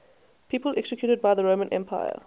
people executed by the roman empire